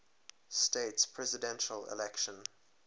states presidential election